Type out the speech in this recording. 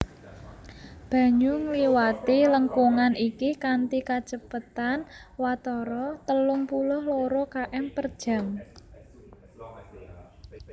Banyu ngliwati lengkungan iki kanthi kacepetan watara telung puluh loro km per jam